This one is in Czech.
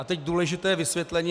A teď důležité vysvětlení.